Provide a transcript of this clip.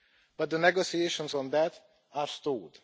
But the negotiations on that are stalled.